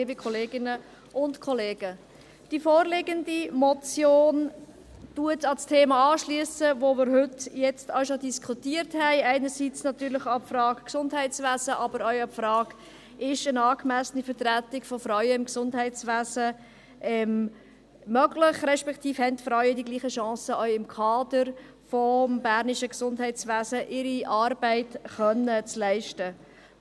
Die vorliegende Motion schliesst an das Thema an, welches wir heute schon diskutiert haben, einerseits an die Frage des Gesundheitswesens, aber auch an die Frage, ob eine angemessene Vertretung von Frauen im Gesundheitswesen möglich ist, respektive ob die Frauen auch im Kader des bernischen Gesundheitswesens die gleiche Chance haben, ihre Arbeit leisten zu können.